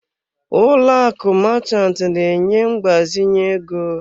Ụlọ akụ Marchant na-enye mgbazinye ego.